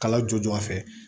Kala joona fɛ